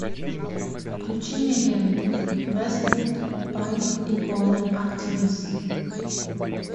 включи мне ленту вествуд панк икона активист